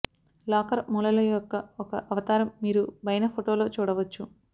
locker మూలలో యొక్క ఒక అవతారం మీరు పైన ఫోటో లో చూడవచ్చు